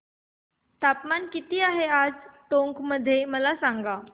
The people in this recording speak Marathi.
तापमान किती आहे टोंक मध्ये मला सांगा